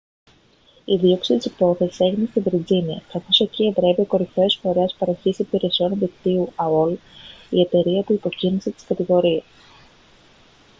η δίωξη της υπόθεσης έγινε στη βιρτζίνια καθώς εκεί εδρεύει o κορυφαίος φορέας παροχής υπηρεσιών διαδικτύου aol η εταιρεία που υποκίνησε τις κατηγορίες